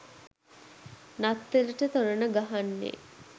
නත්තලට තොරණ ගහන්නෙ?